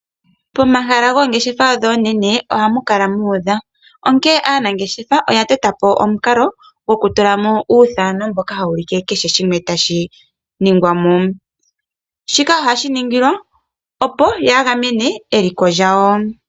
Pomahala goongeshefa ndhi oonene ohamu kala muudha, onkene aanangeshefa oya tota po omukalo gokutulamo uuthano mboka hawu ulike kehe shimwe tashi , shika ohashi ningilwa opo ya gamene eliko lyawo.